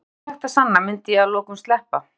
Ef ekkert væri hægt að sanna myndi ég að lokum sleppa.